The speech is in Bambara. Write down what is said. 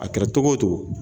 A kɛra tɔgɔ o togo